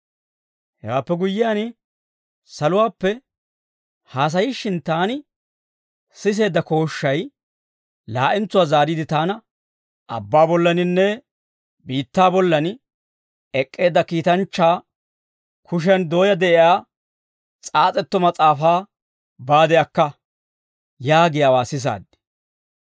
Hewaappe guyyiyaan, saluwaappe haasayishshin taani siseedda kooshshay laa'entsuwaa zaariide taana, «Abbaa bollaaninne biittaa bollan ek'k'eedda kiitanchchaa kushiyan dooyaa de'iyaa s'aas'etto mas'aafaa baade akka» yaagiyaawaa sisaad.